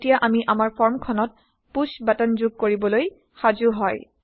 এতিয়া আমি আমাৰ ফৰ্ম খনত পুশ্ব বাটন যোগ কৰিবলৈ সাজো হয়